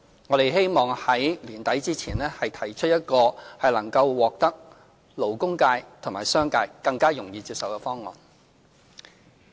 我們希望在年底前提出一個能獲得勞工界及商界更容易接受的方案。